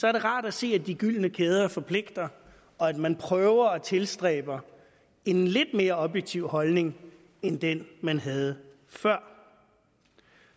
er det rart at se at de gyldne kæder forpligter og at man prøver at tilstræbe en lidt mere objektiv holdning end den man havde før